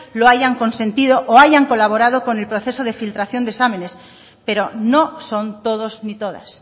lo hayan consentido o hayan colaborado con el proceso de filtración de exámenes pero no son todos ni todas